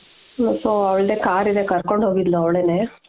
so ಅವ್ಳದೆ car ಇದೆ ಕರ್ಕೊಂಡು ಹೋಗಿದ್ಲು ಅವ್ಳೇನೇ